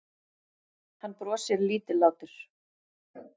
Hann brosir lítillátur.